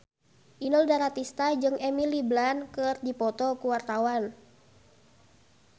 Inul Daratista jeung Emily Blunt keur dipoto ku wartawan